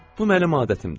Bu mənim adətimdir.